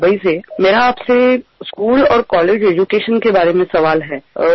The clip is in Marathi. शाळा आणि महाविद्यालयीन शिक्षणाबाबत माझा प्रश्न आहे